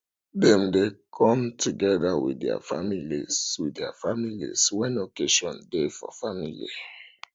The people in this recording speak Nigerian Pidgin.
dem de come together with their families with their families when occasion de for the family